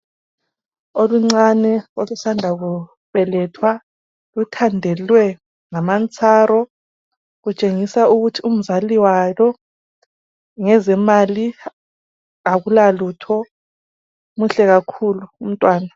olucane olusanda kubelethwa luthandalwe ngamantsaro kutshengisa ukuthi umzali walo ngezemali akulalutho muhle kakhulu umntwana